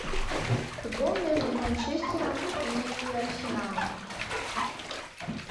футбол между манчестером и арсеналом